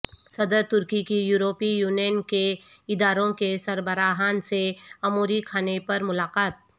صدر ترکی کی یورپی یونین کے اداروں کے سربراہان سے اموری کھانے پر ملاقات